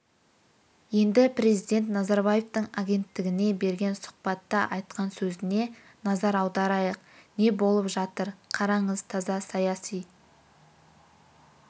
енді президент назарбаевтың агенттігіне берген сұхбатта айтқан сөзіне назар аударайық не болып жатыр қараңыз таза саяси